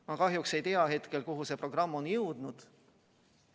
Ma kahjuks ei tea, kuhu see programm on jõudnud.